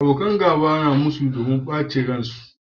Abokan gaba suna musu dakuma nuna bacin ran su